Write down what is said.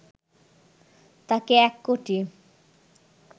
তাঁকে এক কোটি